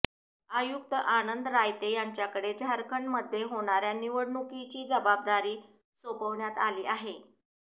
आयुक्त आनंद रायते यांच्याकडे झारखंडमध्ये होणार्या निवडणुकीची जबाबदारी सोपवण्यात आली आहे